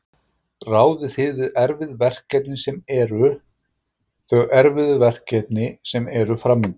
Ráðið þið við erfið verkefni sem eru, þau erfiðu verkefni sem eru framundan?